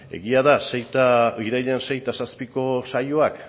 egia da irailean sei eta zazpiko saioak